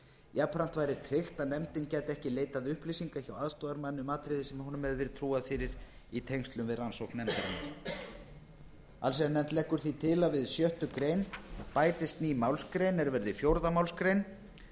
jafnframt væri tryggt að nefndin gæti ekki leitað upplýsinga hjá aðstoðarmanni um atriði sem honum hefði verið trúað fyrir í tengslum við rannsókn nefndarinnar allsherjarnefnd leggur því til að við sjöttu grein bætist ný málsgrein er verði fjórðu málsgrein